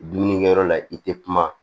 Dumunikɛyɔrɔ la i tɛ kuma